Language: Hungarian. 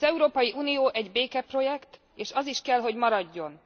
Az Európai Unió egy békeprojekt, és az is kell hogy maradjon!